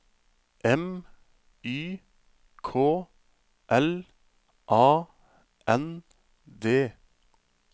M Y K L A N D